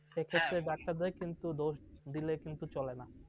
সেক্ষেত্রে doctor র দোষ কিন্তু দিলে চলে না।